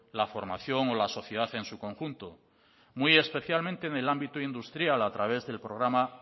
la formación o la sociedad en su conjunto muy especialmente en el ámbito industrial a través del programa